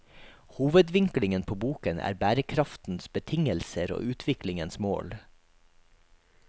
Hovedvinklingen på boken er bærekraftens betingelser og utviklingens mål.